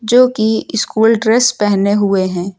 जो की school dress पहने हुए हैं।